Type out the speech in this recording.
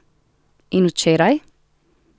In včeraj?